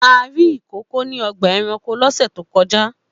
A rí ìkòkò ní ọgbà-ẹranko lọ́sẹ̀ tó kọjá.